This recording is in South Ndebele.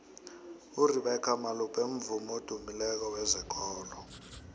urebecca malope mvumi odymileko wezekolo